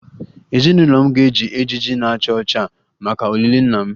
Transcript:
Ezinụlọ m ga-eji ejiji na-acha ọcha maka olili nna m